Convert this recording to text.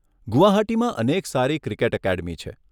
ગુવાહાટીમાં અનેક સારી ક્રિકેટ એકેડમી છે.